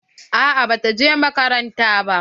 A'a ba ta je makarantar ba.